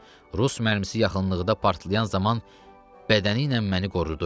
Rus mərmisi yaxınlıqda partlayan zaman bədəni ilə məni qorudu.